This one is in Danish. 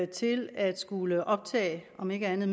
til at skulle optage om ikke andet